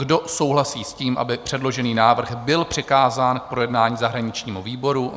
Kdo souhlasí s tím, aby předložený návrh byl přikázán k projednání zahraničnímu výboru?